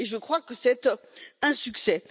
Je crois que c'est un succès.